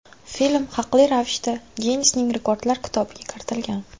Film haqli ravishda Ginnesning rekordlar kitobiga kiritilgan.